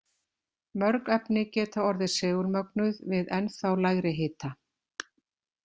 Mörg efni geta orðið segulmögnuð við ennþá lægri hita.